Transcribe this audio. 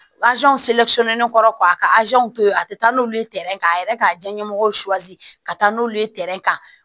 ne kɔrɔ a ka to yen a tɛ taa n'olu ye kan a yɛrɛ ka diɲɛ ɲɛmɔgɔw ka taa n'ulu ye kan